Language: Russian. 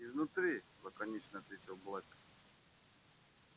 изнутри лаконично ответил блэк